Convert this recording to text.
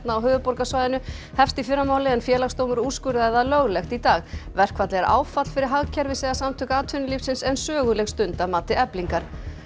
á höfuðborgarsvæðinu hefst í fyrramálið en Félagsdómur úrskurðaði það löglegt í dag verkfallið er áfall fyrir hagkerfið segja Samtök atvinnulífsins en söguleg stund að mati Eflingar